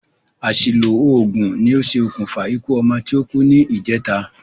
Àsìlò ògùn ní ṣe òkùnfà ikú ọmọ ti o kú ní ìjèta